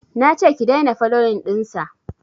nace ki daina foloyin ɗinsa